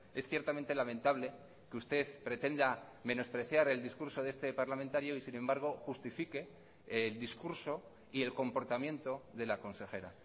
es ciertamente lamentable que usted pretenda menospreciar el discurso de este parlamentario y sin embargo justifique el discurso y el comportamiento de la consejera